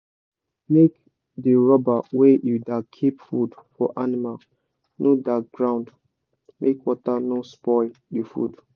make d rubber wey u da keep food for animal no da ground make water no spoil d food